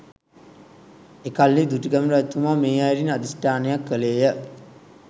එකල්හි දුටුගැමුණු රජතුමා මේ අයුරින් අධිෂ්ඨානයක් කළේ ය